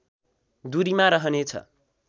दुरीमा रहनेछ